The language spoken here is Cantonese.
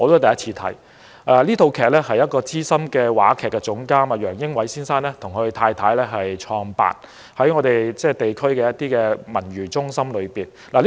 這齣音樂劇是由資深話劇總監楊英偉先生和他的妻子製作，在我們地區的文娛中心舉辦，我首次觀看。